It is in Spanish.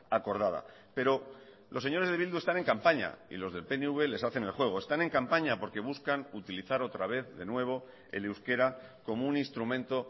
acordada pero los señores de bildu están en campaña y los del pnv les hacen el juego están en campaña porque buscan utilizar otra vez de nuevo el euskera como un instrumento